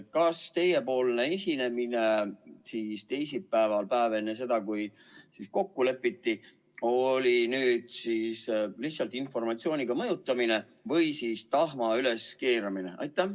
Kas teiepoolne esinemine teisipäeval, päev enne seda, kui kokku lepiti, oli lihtsalt informatsiooniga mõjutamine või siis tahma üleskeerutamine?